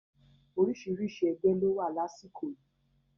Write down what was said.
Orísìírísìí ẹgbẹ́ ló wà lásìkò yìí